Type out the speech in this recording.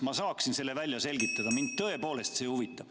Ma saaksin selle välja selgitada, mind see tõepoolest huvitab.